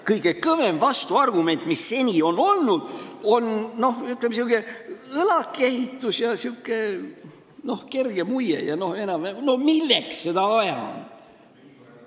Kõige kõvem vastuargument, mis seni on olnud, on niisugune õlakehitus ja sihuke kerge muie, et milleks seda vaja on.